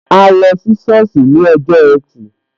A lọ sí sọ́ọ̀sì ní ọjọ́ ẹtì